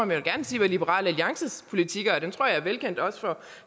vil gerne sige hvad liberal alliances politik er og den tror jeg er velkendt også for